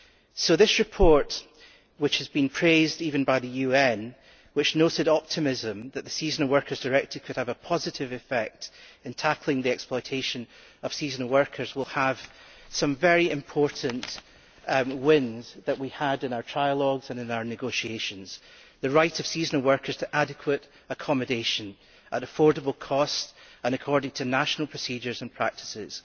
So this report which has been praised even by the UN, which noted with optimism that the Seasonal Workers Directive could have a positive effect in tackling the exploitation of seasonal workers will have some very important wins that we had in our trialogues and in our negotiations the right of seasonal workers to adequate accommodation at affordable costs and according to national procedures and practices.